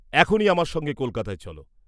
এখনি আমার সঙ্গে কলকাতায় চল।